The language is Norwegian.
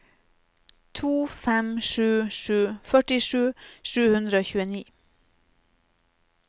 to fem sju sju førtisju sju hundre og tjueni